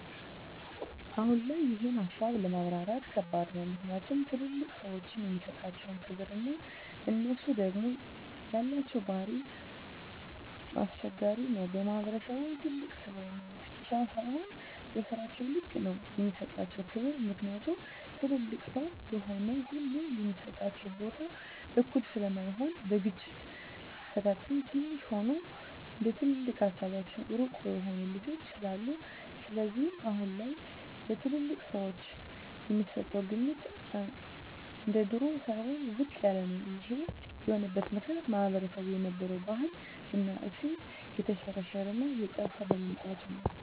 አሁን ላይ ይሄን ሀሳብ ለማብራራት ከባድ ነው ምክኒያቱም ትልልቅ ሰዎችን የሚሠጣቸው ክብር እና እነሡ ደግም የላቸው ባህሪ ኘስቸጋሪ ነው በማህበረሰቡም ትልቅ ስለሆኑ ብቻ ሳይሆ በስራቸው ልክ ነው የሚሰጣቸው ክብር ምክኒያቱም ትልልቅ ሰው የሆነ ሁሉ የሚሰጠው ቦታ እኩል ስለማይሆን በግጭት አፈታትም ትንሽ ሆኖም እንደትልቅ ሀሳባቸው ሩቅ የሆኑ ልጆች ስላሉ ስለዚህም አሁን ላይ ለትልልቅ ሰወች የሚሰጠው ግምት እንደድሮው ሳይሆን ዝቅ ያለ ነው ይሄም የሆነበት ምክኒያት ማህበረሰቡ የነበረው ባህል እና እሴት የተሽረሽረ እና እየጠፍ በመምጣቱ ነው